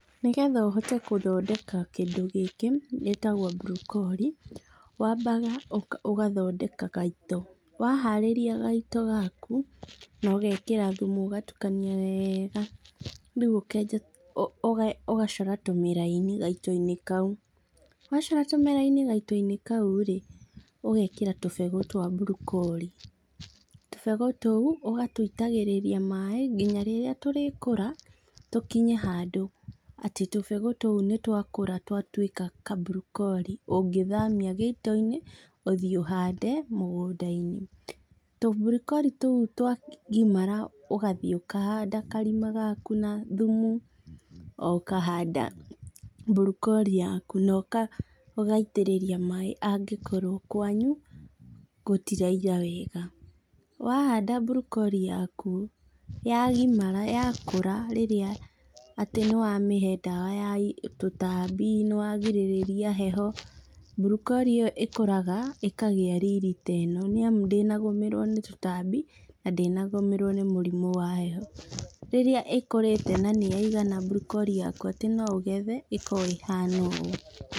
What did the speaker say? Nĩgetha ũhote gũthondeka kindũ gĩkĩ, gĩtagwo mburokori, wambaga ũ ũgathondeka gaito. Waharĩria gaito gaku, na ũgekĩra thumu ũgatukania wega, rĩũ ũkenja ũ ũga ũgacora tũmĩraini gaitoinĩ kau, wacora tũmiraini gaitoinĩ kau rĩ, ũgekĩra tũbegũ twa mburokori. Tũbegũ tũu ũgatwĩitagĩrĩria maĩ nginya rĩrĩa tũrĩkũra tũkinye handũ atĩ tũbegũ tũu nĩtwakũra twatuĩka kamburokori ũngĩthamia gĩitoinĩ, ũthiĩ ũhande mũgũndainĩ. Tũmburokori tũu twagimara ũgathiĩ ũkahanda karima gaku na thumu, ũkahanda mburokori yaku na ũka ũgaitĩrĩria maĩ angĩkorwo kwanyu, gũtiraira wega. Wahanda mburokori yaku, yagimara, yakũra rĩrĩa atĩ nĩwamĩhe ndawa ya tũtambi, nĩwagirĩrĩria heho, mburokori ĩyo ĩkũraga, ĩkagĩa riri ta ĩno, nĩamu ndĩnagũmĩrwo nĩ tũtambi, na ndĩnagũmĩrwo nĩ mũrimũ wa heho. Rĩrĩa ĩkũrĩte na nĩyaigana mburokori yaku atĩ no ũgethe, ĩkoragwo ĩhana ũũ.